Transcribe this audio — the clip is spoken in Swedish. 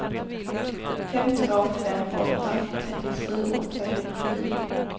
fem två fem åtta trettiosju åttahundrafyra